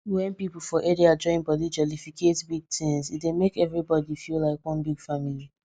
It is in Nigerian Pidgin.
wen people for area join body jollificate big things e dey make everybody feel like one big family